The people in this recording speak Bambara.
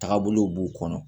Taagabolow b'u kɔnɔ